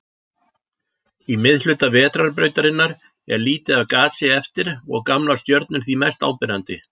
Í miðhluta Vetrarbrautarinnar er lítið af gasi eftir og gamlar stjörnur því mest áberandi.